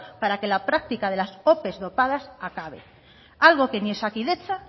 para que la práctica de las ope dopadas acabe algo que ni osakidetza